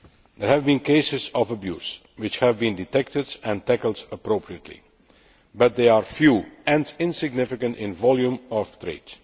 There have been cases of abuse, which have been detected and tackled appropriately, but they are few and insignificant in volume of trade.